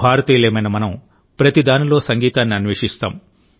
భారతీయులమైన మనం ప్రతిదానిలో సంగీతాన్ని అన్వేషిస్తాం